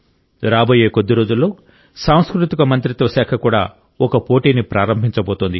రాబోయే కొద్ది రోజుల్లో సాంస్కృతిక మంత్రిత్వ శాఖ కూడా ఒక పోటీని ప్రారంభించబోతోంది